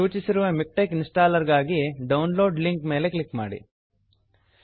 ಸೂಚಿಸಿರುವ MiKTeX installer ಗಾಗಿ download link download link ಮೇಲೆ ಕ್ಲಿಕ್ ಮಾಡಿ